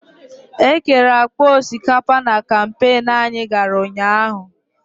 Ekere akpa osikapa na kampain anyị gara ụnyaahụ.